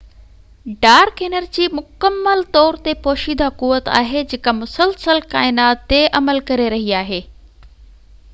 dark energy مڪمل طور تي پوشيده قوت آھي جيڪا مسلسل ڪائنات تي عمل ڪري رھي آھي